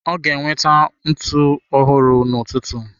Ọ ga-enweta ntụ ọhụrụ n'ụtụtụ.